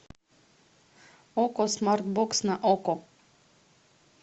окко смарт бокс на окко